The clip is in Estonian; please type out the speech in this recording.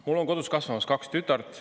Mul on kodus kasvamas kaks tütart.